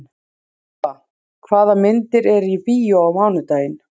Íva, hvaða myndir eru í bíó á mánudaginn?